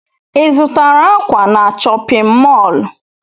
Ị zụtara ákwà na chọpịn mọọlụ?